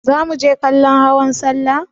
Za muje kallon hawan sallah ne?